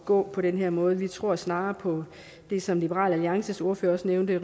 gå på den her måde vi tror snarere på det som liberal alliances ordfører også nævnte